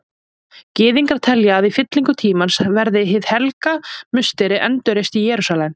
Gyðingar telja að í fyllingu tímans verði Hið heilaga musteri endurreist í Jerúsalem.